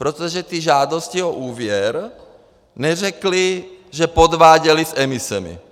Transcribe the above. Protože ty žádosti o úvěr neřekly, že podváděli s emisemi.